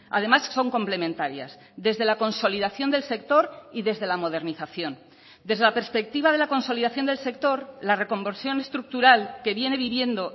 además son complementarias desde la consolidación del sector y desde la modernización desde la perspectiva de la consolidación del sector la reconversión estructural que viene viviendo